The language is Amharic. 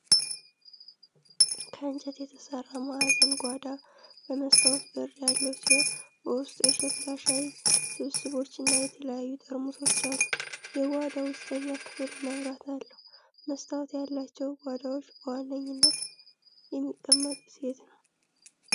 ከእንጨት የተሠራ ማዕዘን ጓዳ በመስታወት በር ያለው ሲሆን፣ በውስጡ የሸክላ ሻይ ስብስቦችና የተለያዩ ጠርሙሶች አሉ። የጓዳው ውስጠኛ ክፍል መብራት አለው። መስታወት ያላቸው ጓዳዎች በዋነኝነት የሚቀመጡት የት ነው?